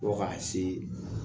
Fo ka se